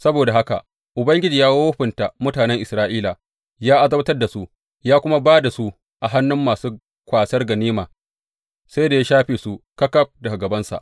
Saboda haka Ubangiji ya wofinta mutanen Isra’ila; ya azabtar da su, ya kuma ba da su a hannun masu kwasar ganima, sai da ya shafe su ƙaƙaf daga gabansa.